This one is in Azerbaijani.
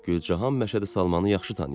Gülcahan Məşədi Salmanı yaxşı tanıyırdı.